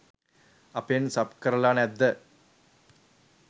අපෙන් සබ් කරල නැද්ද.